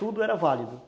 Tudo era válido.